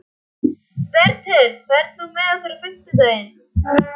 Bertel, ferð þú með okkur á fimmtudaginn?